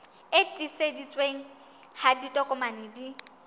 e tiiseditsweng ha ditokomane di